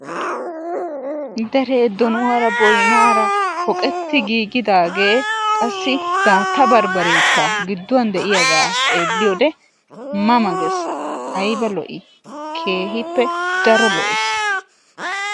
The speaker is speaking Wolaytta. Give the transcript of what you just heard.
Dere doonuwaara boynnara poqqetti giigidaage qassi daatta barbbarekka gidduwan de'iyaaga xeelliyo wode ma ma gees, aybba lo''i! Keehippe daro lo''essi.